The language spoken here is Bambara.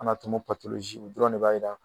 o dɔrɔn de b'a yira.